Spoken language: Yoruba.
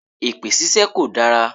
Èpè ṣíṣe kò dára.